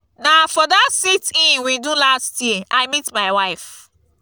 na for dat sit-in we do last year i meet my wife